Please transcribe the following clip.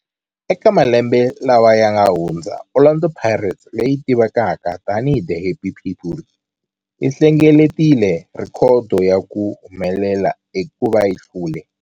Eka malembe lawa yanga hundza, Orlando Pirates, leyi tivekaka tani hi 'The Happy People', yi hlengeletile rhekhodo ya ku humelela hikuva yi hlule.